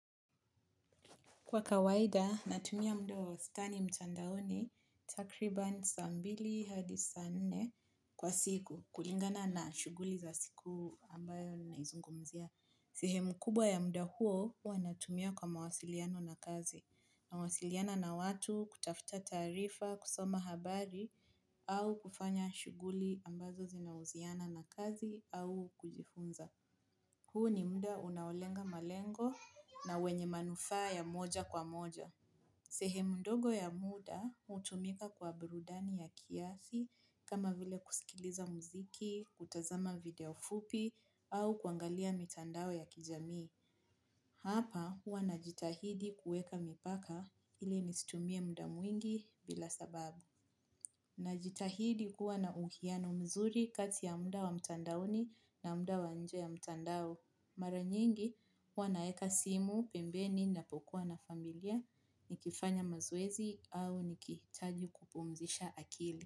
Kwa kawaida, natumia muda wa wastani mtandaoni, takriban saa mbili hadi saa nne kwa siku, kulingana na shughuli za siku ambayo naizungumzia. Sehemu kubwa ya muda huo, huwa natumia kwa mawasiliano na kazi. Nawasiliana na watu, kutafuta taarifa, kusoma habari, au kufanya shughuli ambazo zinahusiana na kazi, au kujifunza. Huu ni muda unaolenga malengo na wenye manufaa ya moja kwa moja. Sehemu ndogo ya muda hutumika kwa burudani ya kiasi kama vile kusikiliza muziki, kutazama video fupi au kuangalia mitandao ya kijamii. Hapa huwa najitahidi kuweka mipaka ili nisitumie muda mwingi bila sababu. Najitahidi kuwa na uwiano mzuri kati ya muda wa mtandaoni na muda wa nje ya mtandao. Mara nyingi, huwa naweka simu, pembeni, ninapokuwa na familia, nikifanya mazoezi au nikihitaji kupumzisha akili.